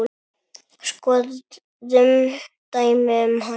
Skoðum dæmi um hana